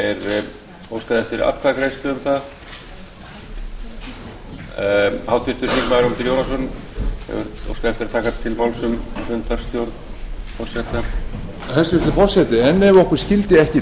með vísan til fjórðu málsgreinar tíundu greinar þingskapa að vikið sé frá ákvæðinu um lengd þingfunda á þessum starfsdegi þannig að fundur geti staðið þangað til umræðum um dagskrármál er lokið